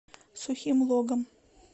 сухим логом